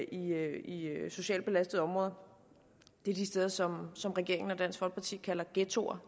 i socialt belastede områder det er de steder som som regeringen og dansk folkeparti kalder ghettoer